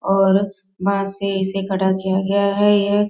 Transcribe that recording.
और बांस सही से कटा किया गया है यह --